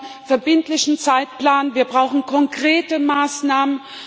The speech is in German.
wir brauchen einen verbindlichen Zeitplan, wir brauchen konkrete Maßnahmen.